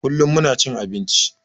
Kullum muna cin abinci